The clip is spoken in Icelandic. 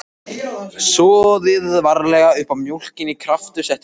Soðið varlega uppá mjólkinni, kraftur settur út í.